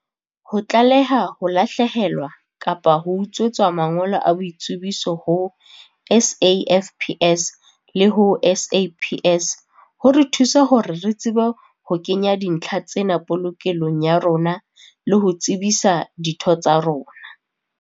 "Ho tlaleha ho lahlehelwa kapa ho utswetswa mangolo a boitsebiso ho SAFPS le ho SAPS ho re thusa hore re tsebe ho kenya dintlha tsena polokelong ya rona le ho tsebisa ditho tsa rona."